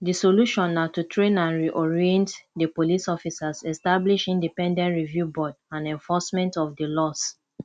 di solution na to train and reorient di police officers establish independent review board and enforcement of di laws